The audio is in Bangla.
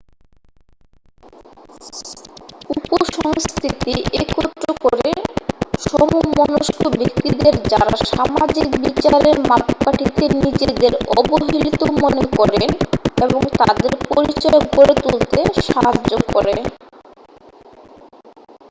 উপ-সংস্কৃতি একত্র করে সমমনস্ক ব্যক্তিদের যারা সামাজিক বিচারের মাপকাঠিতে নিজেদের অবহেলিত মনে করেন এবং তাদের পরিচয় গড়ে তুলতে সাহায্য় করে